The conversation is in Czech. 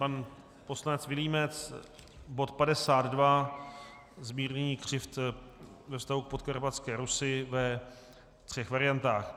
Pan poslanec Vilímec - bod 52, zmírnění křivd ve vztahu k Podkarpatské Rusi ve třech variantách.